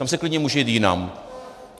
Tam se klidně může jít jinam.